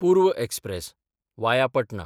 पूर्व express (via पटना)